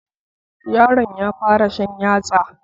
Yaron ya fara shan yatsa